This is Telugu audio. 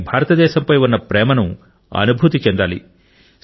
వారికి భారతదేశంపై ఉన్న ప్రేమను అనుభూతి చెందాలి